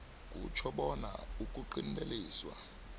kutjho bona ukuqinteliswa